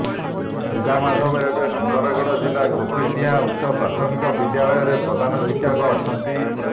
ଦୁର୍ଗା ମାଧବ ଏବେ ସୁନ୍ଦରଗଡ଼ ଜିଲ୍ଲା କୋପୀସିଂହା ଉଚ୍ଚ ପ୍ରାଥମିକ ବିଦ୍ୟାଳୟରେ ପ୍ରଧାନ ଶିକ୍ଷକ ଅଛନ୍ତି